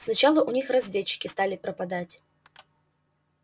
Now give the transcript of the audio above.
сначала у них разведчики стали пропадать